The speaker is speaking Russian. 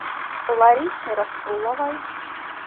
ларисе расуловой